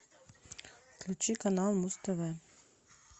включи канал муз тв